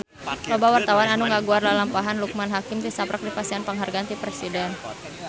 Loba wartawan anu ngaguar lalampahan Loekman Hakim tisaprak dipasihan panghargaan ti Presiden